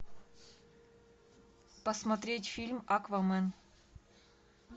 посмотреть фильм аквамен